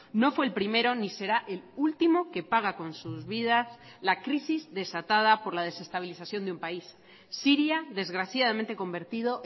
no fue el primero ni será el último que paga con sus vidas la crisis desatada por la desestabilización de un país siria desgraciadamente convertido